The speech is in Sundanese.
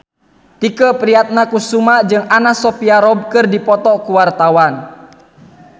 Tike Priatnakusuma jeung Anna Sophia Robb keur dipoto ku wartawan